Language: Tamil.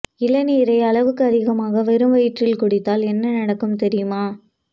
இளநீரை அளவுக்கு அதிகமாக வெறும் வயிற்றில் குடித்தால் என்ன நடக்கும் தெரியுமா